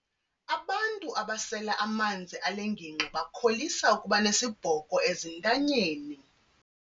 Abantu abasela amanzi ale ngingqi bakholisa ukuba nesibhoko ezintanyeni.